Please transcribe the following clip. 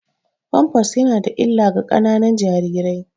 Pampers yana da illa ga ƙananan jarirai.